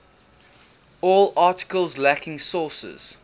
all articles lacking sources